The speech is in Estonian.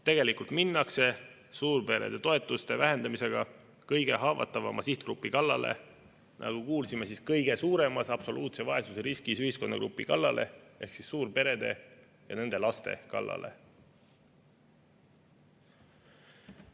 Tegelikult minnakse suurperede toetuste vähendamisega kõige haavatavama sihtgrupi kallale, nagu kuulsime, kõige suuremas absoluutse vaesuse riskis ühiskonnagrupi kallale ehk suurperede ja nende laste kallale.